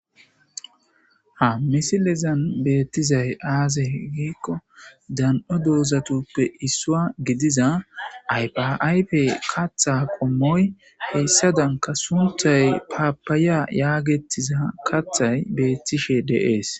Ha misilezan beettizay aazey h giikko dan'o doozatoppe issua gidiza aypaaype katha qommoy heyssadanka sunthay paapaya yaagetiza kathay beettishe deees